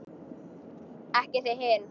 Ekki þið hin!